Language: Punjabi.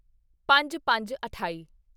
ਪੰਜਪੰਜਅਠਾਈ